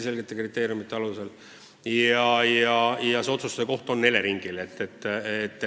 Kriteeriumid on väga selged ja asja otsustab Elering.